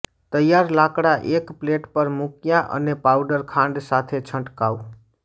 તૈયાર લાકડા એક પ્લેટ પર મુક્યા અને પાઉડર ખાંડ સાથે છંટકાવ